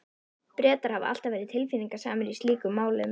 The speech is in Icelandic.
Bretar hafa alltaf verið tilfinningasamir í slíkum málum.